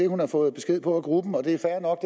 hun har fået besked på at gruppen og det er fair nok